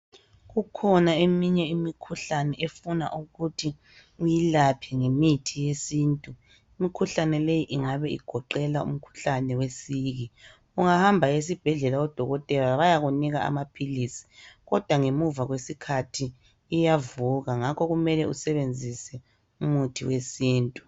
Kukhona eminye imikhuhlane efuna ukuthi uyilaphe ngemithi yesintu . Imikhuhlane leyi ingabe igoqela um khuhlane wesiki .Ungahamba esibhedlela odokotela bayakunika amaphilisi kodwa ngemuva kwesikhathi iyavuka ngakho kumele usebenzise umuthi wesintu.